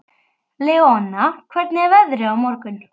Leona, hvernig er veðrið á morgun?